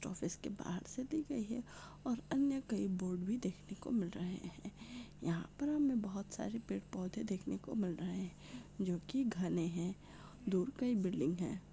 Office के बाहर से दी गई है और अन्य कई बोर्ड भी देखने को मिल रहे है यहा पर हमे बहुत सारे पेड़ पौधे देखने को मिल रहे है जो की घने है दूर कई बिल्डिंग है।